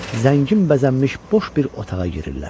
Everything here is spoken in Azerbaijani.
Zəngin bəzənmiş boş bir otağa girirlər.